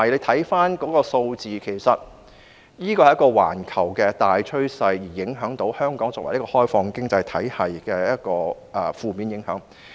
大家看回數字，這是一個環球大趨勢，是香港作為一個開放型經濟體系所受到的負面影響。